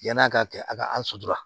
Yan'a ka kɛ a ka ra